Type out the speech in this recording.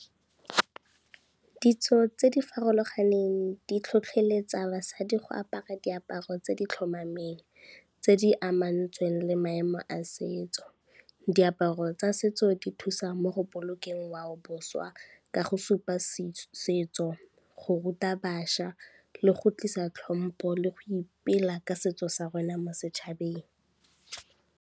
Ditso tse di farologaneng di tlhotlheletsa basadi go apara diaparo tse di tlhomameng, tse di amantsweng le maemo a setso. Diaparo tsa setso di thusa mo go bolokeng ngwao boswa ka go supa setso, go ruta bašwa le go tlisa tlhompo le go ipela ka setso sa rona mo setšhabeng.